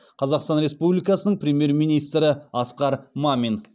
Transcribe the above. қазақстан республикасының премьер министрі асқар мамин